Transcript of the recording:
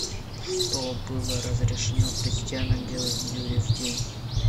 что было разрешено крестьянам делать в юрьев день